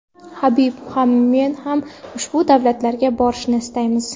Habib ham men ham ushbu davlatlarga borishni istaymiz.